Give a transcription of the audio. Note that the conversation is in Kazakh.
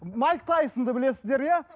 майк тайсонды білесіздер иә